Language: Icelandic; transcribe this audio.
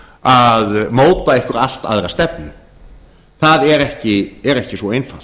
að móta einhverja allt aðra stefnu það er ekki svo einfalt